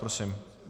Prosím.